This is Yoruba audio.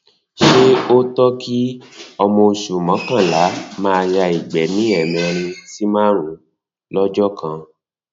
ṣe ó tọ kí ọmọ oṣù mọkànlá maa ya ìgbẹ ní ẹmẹrin sí márùnún lọjọ kan